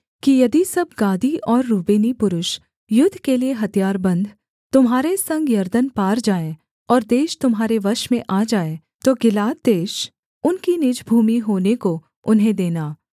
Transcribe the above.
कि यदि सब गादी और रूबेनी पुरुष युद्ध के लिये हथियारबन्द तुम्हारे संग यरदन पार जाएँ और देश तुम्हारे वश में आ जाए तो गिलाद देश उनकी निज भूमि होने को उन्हें देना